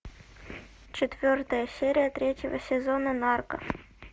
четвертая серия третьего сезона нарко